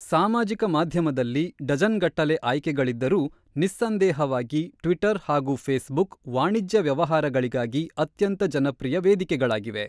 ಸಾಮಾಜಿಕ ಮಾಧ್ಯಮದಲ್ಲಿ ಡಜನ್‌ ಗಟ್ಟಲೆ ಆಯ್ಕೆಗಳಿದ್ದರೂ, ನಿಸ್ಸಂದೇಹವಾಗಿ ಟ್ವಿಟರ್ ಹಾಗೂ ಫೇಸ್ಬುಕ್ ವಾಣಿಜ್ಯ ವ್ಯವಹಾರಗಳಿಗಾಗಿ ಅತ್ಯಂತ ಜನಪ್ರಿಯ ವೇದಿಕೆಗಳಾಗಿವೆ.